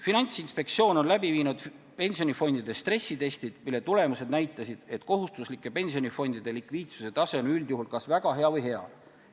Finantsinspektsioon on läbi viinud pensionifondide stressitestid, mille tulemused näitasid, et kohustuslike pensionifondide likviidsuse tase on üldjuhul kas väga hea või hea.